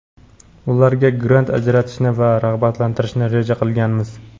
ularga grant ajratishni va rag‘batlantirishni reja qilganmiz.